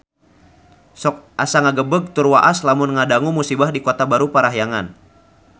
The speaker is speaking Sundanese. Sok asa ngagebeg tur waas lamun ngadangu musibah di Kota Baru Parahyangan